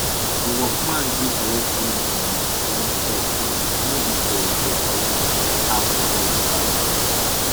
the workman gree collect all him money when the job finish no be to to collect half before e start